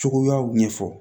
Cogoyaw ɲɛfɔ